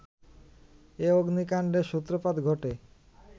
এ অগ্নিকাণ্ডের সূত্রপাত ঘটে